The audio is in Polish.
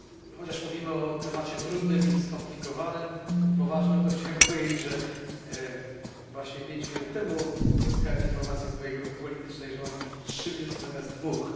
Chociaż mówimy o temacie trudnym i skomplikowanym, i poważnym, to chciałem powiedzieć, że właśnie 5 minut temu uzyskałem informację od mojej grupy politycznej, że mam mówić trzy minuty zamiast dwóch.